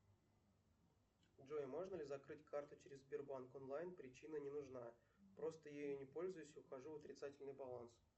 джой можно ли закрыть карту через сбербанк онлайн причина не нужна просто я ей не пользуюсь ухожу в отрицательный баланс